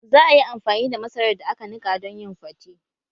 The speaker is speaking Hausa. Za a yi amfani da masarar da aka nika don yin fate